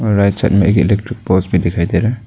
और right side में एक इलेक्ट्रिक पोल्स भी दिखाई दे रहा --